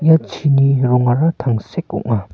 ia chini rongara tangsek ong·a.